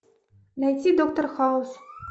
найти доктор хаус